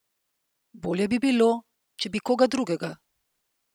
Bolje bi bilo, če bi koga drugega.